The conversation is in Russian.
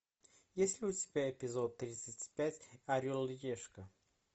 есть ли у тебя эпизод тридцать пять орел и решка